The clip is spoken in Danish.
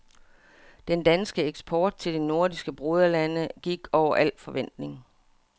Den danske eksport til de nordiske broderlande gik over al forventning.